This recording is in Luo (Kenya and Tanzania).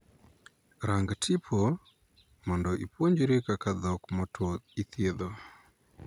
Rang tipo mondo ipuonjri kaka dhok motwo ithiedho.